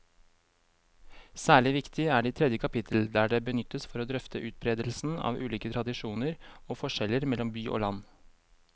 Særlig viktig er det i tredje kapittel, der det benyttes for å drøfte utbredelsen av ulike tradisjoner og forskjeller mellom by og land.